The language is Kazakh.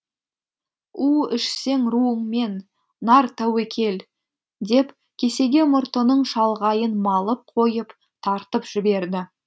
у ішсең руыңмен нар тәуекел деп кесеге мұртының шалғайын малып қойып тартып жіберді